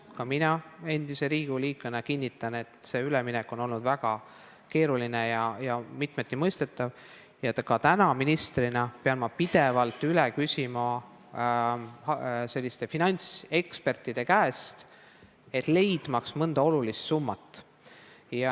Ka mina endise Riigikogu liikmena kinnitan, et see üleminek on olnud väga keeruline ja mitmeti mõistetav, ja täna ministrina pean ma finantsekspertide käest pidevalt asju üle küsima, et leida mõnd olulist summat.